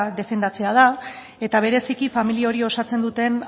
defendatzea da eta bereziki familia hori osatzen duten